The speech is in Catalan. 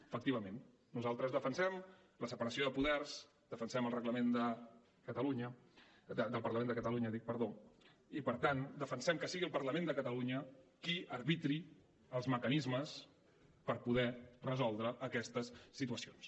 efectivament nosaltres defensem la separació de poders defensem el reglament del parlament de catalunya i per tant defensem que sigui el parlament de catalunya qui arbitri els mecanismes per poder resoldre aquestes situacions